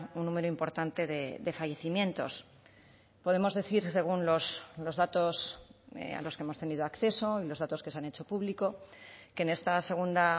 un número importante de fallecimientos podemos decir según los datos a los que hemos tenido acceso y los datos que se han hecho público que en esta segunda